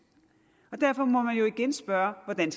derfor må man jo igen spørge hvordan